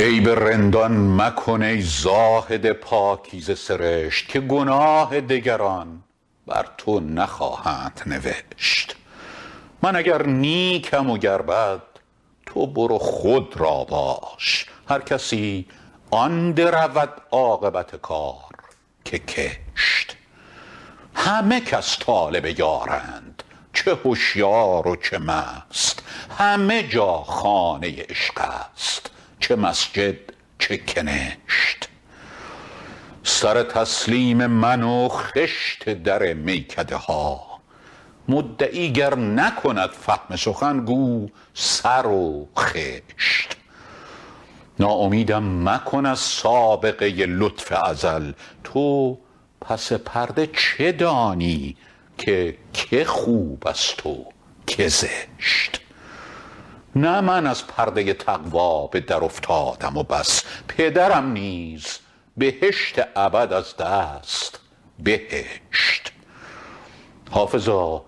عیب رندان مکن ای زاهد پاکیزه سرشت که گناه دگران بر تو نخواهند نوشت من اگر نیکم و گر بد تو برو خود را باش هر کسی آن درود عاقبت کار که کشت همه کس طالب یارند چه هشیار و چه مست همه جا خانه عشق است چه مسجد چه کنشت سر تسلیم من و خشت در میکده ها مدعی گر نکند فهم سخن گو سر و خشت ناامیدم مکن از سابقه لطف ازل تو پس پرده چه دانی که که خوب است و که زشت نه من از پرده تقوا به درافتادم و بس پدرم نیز بهشت ابد از دست بهشت حافظا